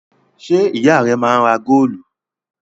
Ṣé ìyá rẹ máa ń ra góólù?